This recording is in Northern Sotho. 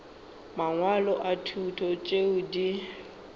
mangwalo a thuto tšeo di